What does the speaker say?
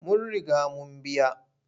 Mun riga mun biya.